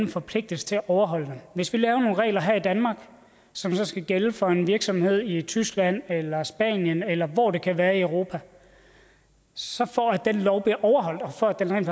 forpligtes til at overholde dem hvis vi laver nogle regler her i danmark som skal gælde for en virksomhed i tyskland spanien eller hvor det nu kan være i europa så tror jeg den lov bliver overholdt og for at den rent